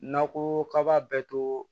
N'a ko k'a b'a bɛɛ to